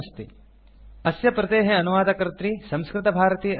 httpspoken tutorialorgNMEICT intro अस्य प्रतेः अनुवादकर्त्री संस्कृतभारती अस्ति